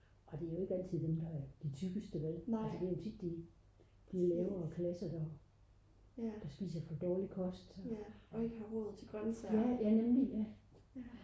og det er jo ikke altid dem der er de tykkeste vel altså det er jo tit de lavere klasser der spiser for dårlig kost